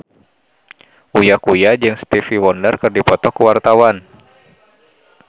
Uya Kuya jeung Stevie Wonder keur dipoto ku wartawan